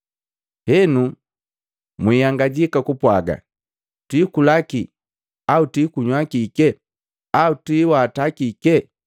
“Henu, mwiihangajaki kupwaaga, ‘Twiikula kii au twiikunywa kike? Au twiiwata kiki!’